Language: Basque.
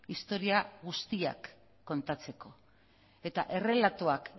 historia guztiak kontatzeko eta errelatuak